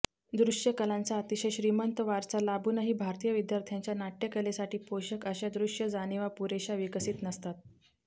दृश्यकलांचा अतिशय श्रीमंत वारसा लाभूनही भारतीय विद्यार्थ्यांच्या नाट्यकलेसाठी पोषक अश्या दृश्य जाणिवा पुरेश्या विकसित नसतात